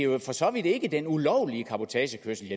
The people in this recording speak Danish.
jo for så vidt ikke den ulovlige cabotagekørsel